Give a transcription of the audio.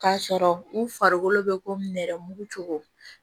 K'a sɔrɔ u farikolo bɛ ko nɛrɛmugu cogo